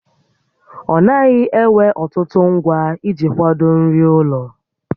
Ọ naghị ewe ọtụtụ ngwa iji kwado nri ụlọ